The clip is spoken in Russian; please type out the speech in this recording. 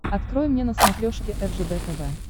открой мне на смотрешке ржд тв